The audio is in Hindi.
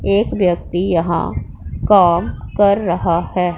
एक व्यक्ति यहां काम कर रहा है।